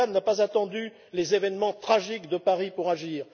Orbán n'a pas attendu les événements tragiques de Paris pour agir.